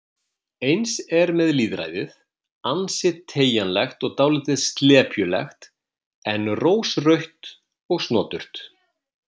Eins er með lýðræðið, ansi teygjanlegt og dálítið slepjulegt en rósrautt og snoturt